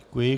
Děkuji.